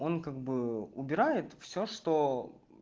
он как бы убирает все что